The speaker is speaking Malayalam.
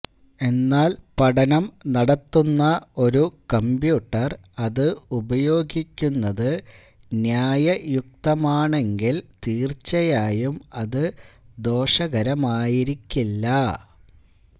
എന്നാൽ പഠനം നടത്തുന്ന ഒരു കമ്പ്യൂട്ടർ അത് ഉപയോഗിക്കുന്നത് ന്യായയുക്തമാണെങ്കിൽ തീർച്ചയായും അത് ദോഷകരമായിരിക്കില്ല